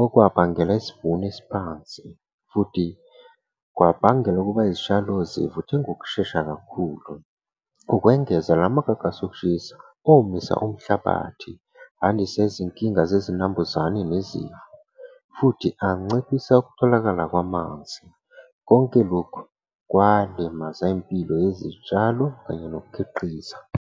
Okwabangela isivuno esiphansi, futhi kwabangela ukuba izitshalo zivuthe ngokushesha kakhulu. Ukwengeza lamagagasi okushisa omisa umhlabathi, andisa izinkinga zezinambuzane . Futhi anciphisa ukutholakala kwamanzi. Konke lokhu kwalimaza impilo yezitshalo kanye nokukhiqiza.